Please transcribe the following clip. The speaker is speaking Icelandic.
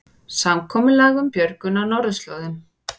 Samkomulag um björgun á norðurslóðum